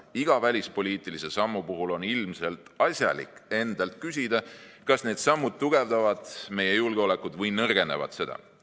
Iga välispoliitilise sammu puhul on ilmselt asjalik endalt küsida, kas need sammud tugevdavad meie julgeolekut või nõrgendavad seda.